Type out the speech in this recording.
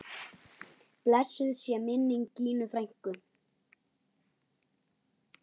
Blessuð sé minning Gínu frænku.